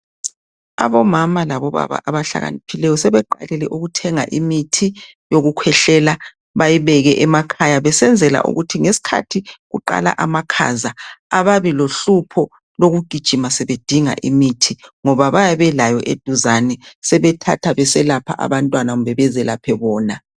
Omama labo baba abahlakaniphileyo sebeqalile ukuthenga imithi yokukhwehlela, bayibeke emakhaya besenzela ukuthi nxa sokuqala amakhaza ababi lo hlupho lokugijima bedinga imithi ngonaybayabe belayo eduzane sebethatha beselapha abantwana kumbe bezelaphe bona.